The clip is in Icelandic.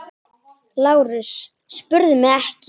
LÁRUS: Spyrðu mig ekki!